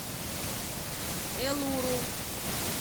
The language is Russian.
элуру